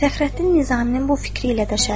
Fəxrəddin Nizaminin bu fikri ilə də şərik oldu.